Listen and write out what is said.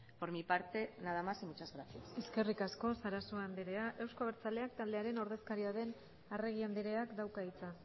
por mi parte nada más y muchas gracias eskerrik asko sarasua andrea euzko abertzaleak taldearen ordezkaria den arregi andreak dauka hitza